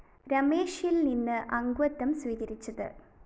രമേശില്‍ നിന്ന് അംഗത്വം സ്വീകരിച്ചത്